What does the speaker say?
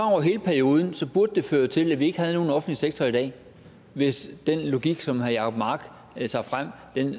over hele perioden burde det føre til at vi ikke havde nogen offentlig sektor i dag hvis den logik som herre jacob mark tager frem